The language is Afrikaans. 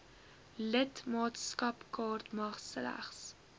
lidmaatskapkaart mag slegs